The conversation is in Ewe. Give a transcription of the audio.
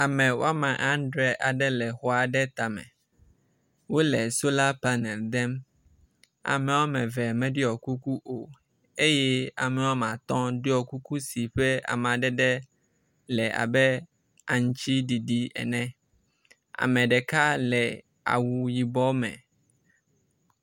Ame adre aɖe le xɔ aɖe tame. Wo le sola panel dem. Ame wɔme eve meɖɔ kuku o eye ame wɔme atɔ ɖɔ kuku si ƒe amadede le abe aŋtiɖiɖi ene. Ame ɖeka le awuyibɔ me.